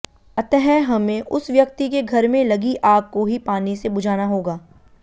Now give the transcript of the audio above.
अतः हमें उस व्यक्ति के घर में लगी आग को ही पानी से बुझाना होगा